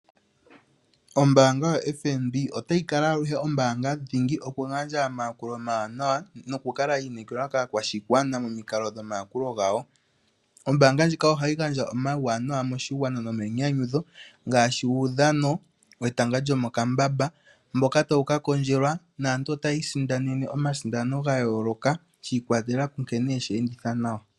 Ombaanga yoFNB otayi kala aluhe ombaanga dhingi moku gandja omayakulo omawanawa noku kala yi inekelwa kaakwashigwa momikalo dhomayakulo gawo. Oombaanga ndjika ohayi gandja omawuwanawa moshigwana nomayinyanyudho, ngaashi uudhano wetanga lyomokambamba mboka tawu ka kondjelwa naantu otaya kiisindanena omasindano ga yooloka shi ikwatelela kunkene yeshi enditha nawa.